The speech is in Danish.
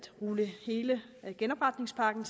rulle hele genopretningspakken